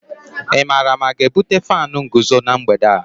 Ị maara ma a ga-ebute fánu nguzo na mgbede a?